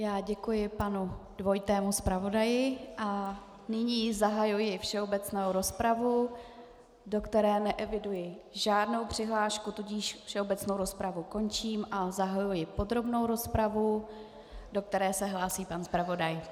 Já děkuji panu dvojitému zpravodaji a nyní zahajuji všeobecnou rozpravu, do které neeviduji žádnou přihlášku, tudíž všeobecnou rozpravu končím a zahajuji podrobnou rozpravu, do které se hlásí pan zpravodaj.